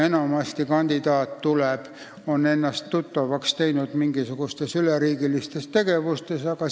Enamasti on kandidaat ennast tuttavaks teinud mingisuguste üleriigiliste tegevustega.